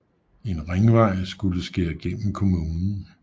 En ringvej skulle skære gennem kommunen